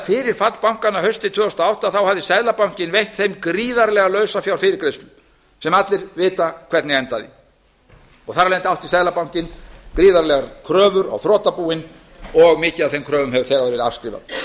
fyrir fall bankanna haustið tvö þúsund og átta hafði seðlabankinn veitt þeim gríðarlega lausafjárfyrirgreiðslu sem allir vita hvernig endaði og þar af leiðandi átti seðlabankinn gríðarlegar kröfur á þrotabúin og mikið af þeim kröfum hefur þegar verið afskrifað